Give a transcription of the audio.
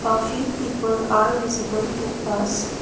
a few people are visible to us.